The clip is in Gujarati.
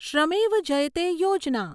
શ્રમેવ જયતે યોજના